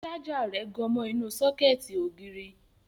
Ṣájà rẹ̀ gan mọ inú sọ́kẹ̀tì ògiri